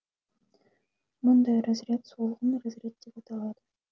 мұндай разряд солғын разряд деп аталады